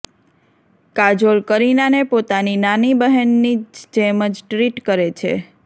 કાજોલ કરીનાને પોતાની નાની બહેનની જ જેમ જ ટ્રિટ કરે છે